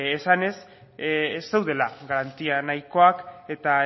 esanez ez zeudela garantia nahikoak eta